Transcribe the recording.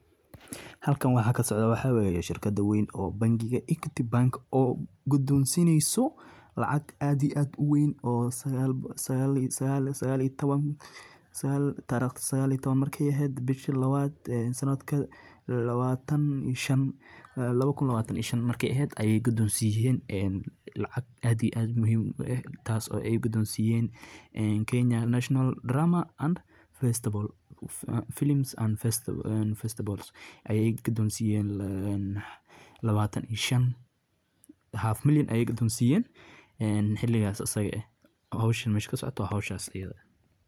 Halkan waxa ka socdoo waxa waye, shurkadda bangiga Equity bank gudeysineyso lacag aad iyo aad u weyn, dariqdda markay sagal iyo toban sanadka laba ku labatan ito shan markay ahayd ayaa gudoonsiyeen in alagac aad iyo aad muhiim ugu ahayd tas oo ay gudoonsiyeen kenya national drama festival ayay qudoonsiyeen, labaatan iyo shan milyan ayaay gudonsiiyeen. hawsha meesha ka socoto waa howshaas.